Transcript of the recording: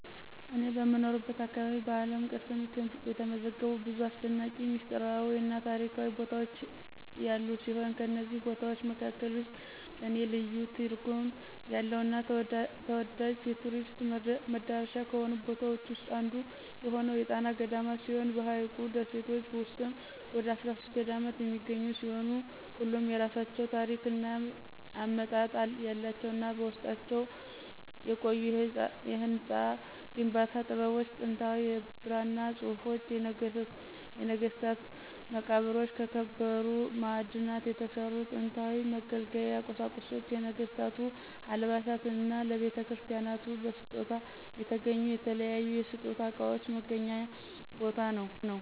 እኔ በምኖርበት አካባቢ በዓለም ቅርስነት የተመዘገቡ ብዙ አሰደናቂ፣ ሚስጥራዊ እና ታሪካዊ ቦታዎች ያሉ ሲሆን ከነዚህም ቦታዎች መካከል ውስጥ ለኔ ልዩ ትርጉም ያለው እና ተወዳጅ የቱሪስት መዳረሻ ከሆኑት ቦታዎች ዉስጥ አንዱ የሆነው የጣና ገዳማት ሲሆን በሀይቁ ደሴቶች ውስጥም ወደ 13 ገዳማት የሚገኙ ሲሆን ሁሉም የየራሳቸው ታሪክ እና አመጣጥ ያላቸው እና በውስጣቸውም የቆዩ የህንፃ ግንባታ ጥበቦች፣ ጥንታዊ የብራና ፅሁፎች፣ የነገስታት መቃብሮች፣ ከከበሩ ማዕድናት የተሰሩ ጥንታዊ መገልገያ ቁሳቁሶች፣ የነገስታቱ አልባሳት እና ለቤተክርስቲያናቱ በስጦታ የተገኙ የተለያዩ የስጦታ እቃዎች መገናኛ ቦታ ነው።